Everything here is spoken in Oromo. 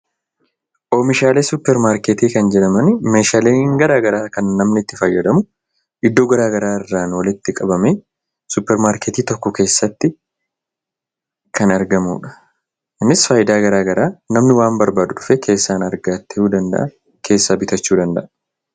Oomishaalee suuparmaarketii kan jedhaman meehaaleen garaa garaa kan namni itti fayyadamu, iddoo garaa garaarraa walitti qabamee suuparmaarketii tokko keessatti kan argamudha. Kunis faayidaa garaa garaa namni waan barbaadu dhufee keessaan argatuu danda'a, keessaa bitachuu danda'a.